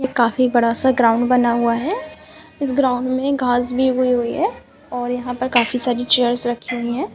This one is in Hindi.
ये काफी बड़ा-सा ग्राउंड बना हुआ है इस ग्राउंड घास भी उगी हुई है और यहाँ पर काफी सारी चेयर्स रखी हुई है।